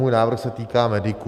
Můj návrh se týká mediků.